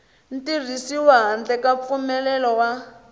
tirhisiwi handle ka mpfumelelo wa